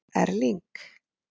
Erling